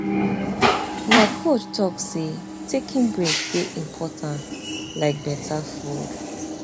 my coach talk say taking break dey important like better food